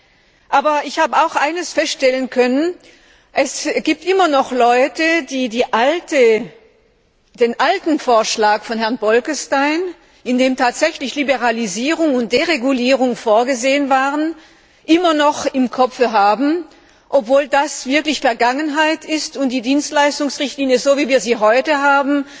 Ich konnte aber auch eines feststellen Es gibt immer noch Leute, die den alten Vorschlag von Herrn Bolkestein, in dem tatsächlich Liberalisierung und Deregulierung vorgesehen waren, immer noch im Kopfe haben, obwohl das wirklich Vergangenheit ist und es bei der Dienstleistungsrichtlinie, so wie wir sie heute haben,